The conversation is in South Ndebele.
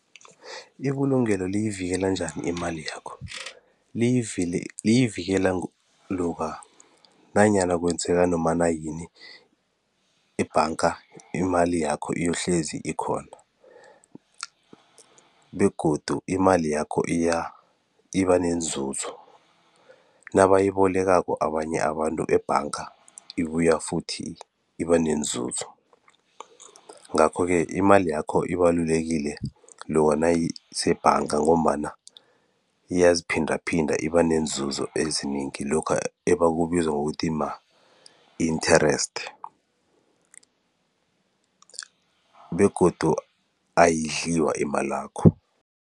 Ibulungelo liyivikela njani imali yakho? Liyivikela loka nanyana kwenzeka nomana yini ebhanga imali yakho iyohlezi ikhona begodu imali yakho iba nenzuzo nabayibolekako abanye abantu ebhanga ibuya futhi iba nenzuzo ngakho-ke imali yakho ibalulekile loka nayisebhanga ngombana iyaziphindaphinda iba neenzuzo ezinengi lokha ebakubiza ngokuthi ma-interest begodu ayidliwa imalakho.